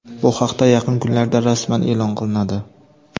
Bu haqda yaqin kunlarda rasman e’lon qilinadi.